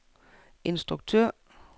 instruktør